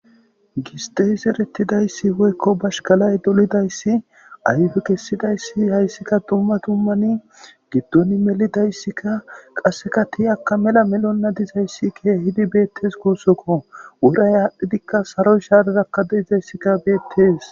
giste serettidayssi woykko bashkalay dolidayssi ayfe kessidayssi hayssika dumma tummani giddon melidayssikka qasseka tiyakka mela melonna dizayssi keehidi beettes kuussokko wuray aadhdhidikka saroy shaaderakka deizayssikka beettees